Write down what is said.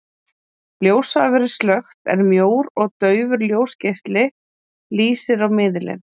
Ljós hafa verið slökkt, en mjór og daufur ljósgeisli lýsir á miðilinn.